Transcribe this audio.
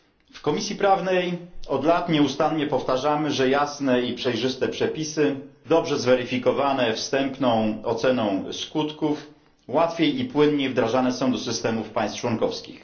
W Komisji Prawnej od lat nieustannie powtarzamy, że jasne i przejrzyste przepisy, dobrze zweryfikowane wstępną oceną skutków, łatwiej i płynniej wdrażane są do systemów państw członkowskich.